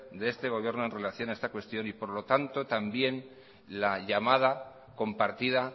de este gobierno en relación a esta cuestión y por lo tanto también la llamada compartida